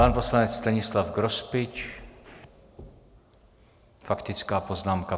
Pan poslanec Stanislav Grospič, faktická poznámka.